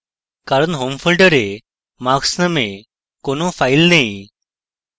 কারণ home folder marks named কোন file নেই